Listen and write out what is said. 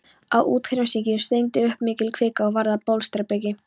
Á úthafshryggjunum streymdi upp mikil kvika og varð að bólstrabergi.